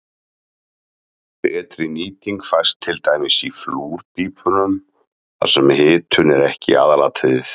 Betri nýting fæst til dæmis í flúrpípum þar sem hitun er ekki aðalatriðið.